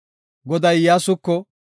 Goday Iyyasuko,